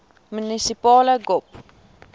munisipale gop